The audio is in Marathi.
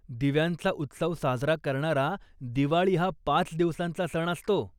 दिव्यांचा उत्सव साजरा करणारा दिवाळी हा पाच दिवसांचा सण असतो.